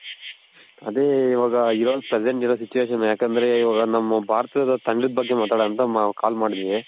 ಅದೆ ಇವಾಗ ಇರೋ present ಇರೋ situation ಯಾಕಂದ್ರೆ ಇವಾಗ ನಮ್ ಭಾರತದ ತಂಡದ್ ಬಗ್ಗೆ ಮಾತಾಡೋಣ ಅಂತ call ಮಾಡಿದ್ವಿ